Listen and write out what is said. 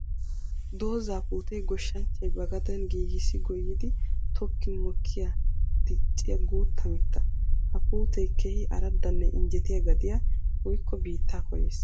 Dooza puute goshshanchchay ba gaden giigissi goyiddi tokkin mokiyanne dicciya guuta mitta. Ha puute keehi aradanne injjettiya gadiya woykko biitta koyees.